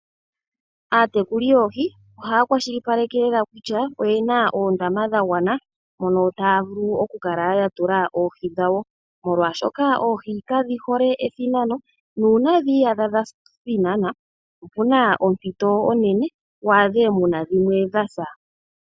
Aatekuli yoohi ohaya kwashilipake lela kutya oyena oondama dha gwana mono taya vulu oku kala yatulamo oohi dhawo. Molwaashoka oohi kadhi hole ethinano nuuna dhi iyadha dha thina opuna ompito onene waadhe dha sa.